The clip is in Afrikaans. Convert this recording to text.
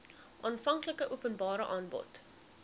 aanvanklike openbare aanbod